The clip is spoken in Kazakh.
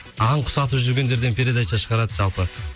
аң құс атып жүргендерден передача шығарады жалпы